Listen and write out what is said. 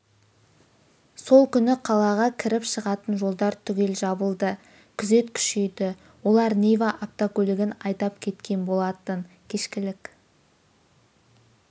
сол күні қалаға кіріп-шығатын жолдар түгел жабылды күзет күшейді олар нива автокөлігін айдап кеткен болатын кешкілік